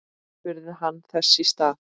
spurði hann þess í stað.